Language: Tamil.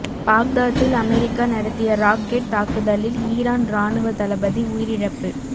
பாக்தாத்தில் அமெரிக்கா நடத்திய ராக்கெட் தாக்குதலில் ஈரான் ராணுவ தளபதி உயிரிழப்பு